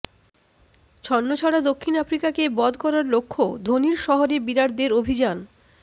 ছন্নছাড়া দক্ষিণ আফ্রিকাকে বধ করার লক্ষ্য ধোনির শহরে বিরাটদের অভিযান